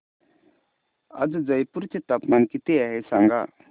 आज जयपूर चे तापमान किती आहे सांगा